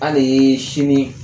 An ne ye sini